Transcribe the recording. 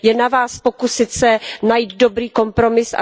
Je na Vás pokusit se najít dobrý kompromis.